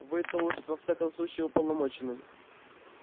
вы-то уж во всяком случае уполномочены